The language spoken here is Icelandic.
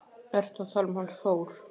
Ertu að tala um hann Þór?